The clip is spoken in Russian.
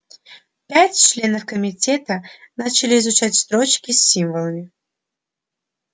пять членов комитета начали изучать строчки с символами